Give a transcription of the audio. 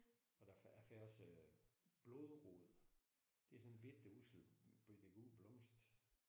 Og der jeg fik også blodrod. Det er sådan en bette ussel bette gul blomst